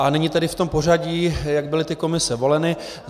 A nyní tedy v tom pořadí, jak byly ty komise voleny.